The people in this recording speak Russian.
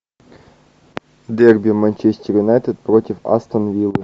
дерби манчестер юнайтед против астон виллы